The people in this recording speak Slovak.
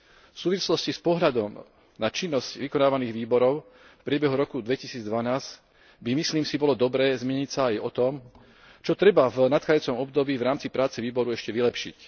V súvislosti s pohľadom na činnosť vykonávaných výborom v priebehu roku 2012 by, myslím si, bolo dobré zmieniť sa aj o tom, čo treba v nadchádzajúcom období v rámci práce výboru ešte vylepšiť.